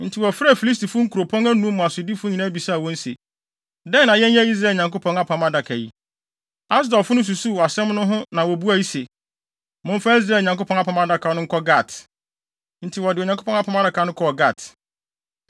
Enti wɔfrɛɛ Filistifo nkuropɔn anum mu asodifo nyinaa bisaa wɔn se, “Dɛn na yɛnyɛ Israel Nyankopɔn Apam Adaka yi?” Asodifo no susuw asɛm no ho na wobuae se, “Momfa Israel Nyankopɔn Apam Adaka no nkɔ Gat.” Enti wɔde Onyankopɔn Apam Adaka no kɔɔ Gat.